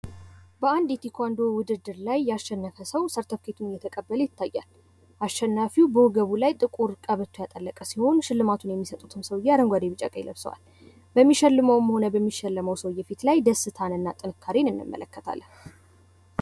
በአንድ የቴኳንዶ ውድድር ላይ የሸነፈ ሰው ሰርተፊኬት እየተቀበለ ይታያል። አሸናፊው በወገቡ ላይ ትቁር ቀበቶ ያጠለቀ ሲሆን ሽልማቱን የሚሰጥትም ሰዉየ አረንጓዴ ቢጫ ቀይ ለብሰዋል በሚሸልመዉም ሆነ በሚሸለመው ሰዉየ ፊት ላይ ደስታን እና ጥንካሬ እንመለከታለን።